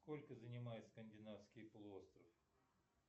сколько занимает скандинавский полуостров